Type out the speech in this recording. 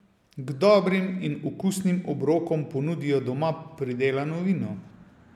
K dobrim in okusnim obrokom ponudijo doma pridelano vino.